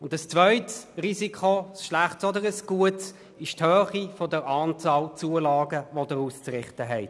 Ein zweites Risiko ist die Anzahl der Zulagen, die Sie auszurichten haben.